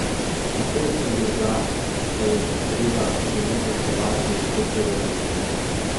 Takoj sem bil za, saj je treba železo kovati, dokler je vroče.